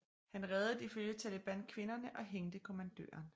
Han reddede ifølge Taliban kvinderne og hængte kommandøren